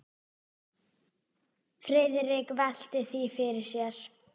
Friðrik velti því fyrir sér.